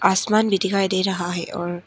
आसमान भी दिखाई दे रहा है और--